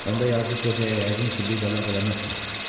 Onda yazıq qocaya yəqin ki, bir də lağ eləməzsən.